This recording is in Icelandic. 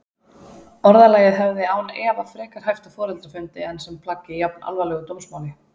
Orðalagið hefði án efa frekar hæft á foreldrafundi en sem plagg í jafnalvarlegu dómsmáli.